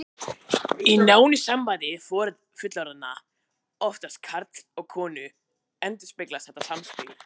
Í nánu sambandi fullorðinna, oftast karls og konu, endurspeglast þetta samspil.